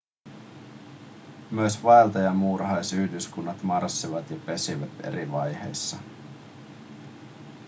myös vaeltajamuurahaisyhdyskunnat marssivat ja pesivät eri vaiheissa